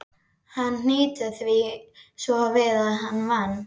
Hann hnýtti því svo við að van